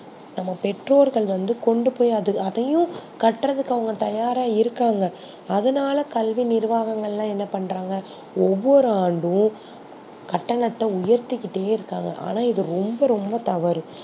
நம்ப பெற்றோர்கள் வந்து கொண்டு போய் அதையும் கட்றதுக்கு அவங்க தயாரா இருகாங்க அதுனால கல்வி நிறுவாங்கள் என்ன பன்றாங்கனா ஒவ்வொரு ஆண்டும் கட்டணத்தை உயர்த்திகிட்டே இருகாங்க ஆனா எது வந்து ரொம்ப ரொம்ப தவறு